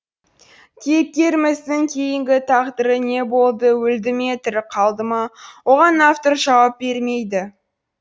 кейіпкеріміздің кейінгі тағдыры не болды өлді ме тірі қалды ма оған автор жауап бермейді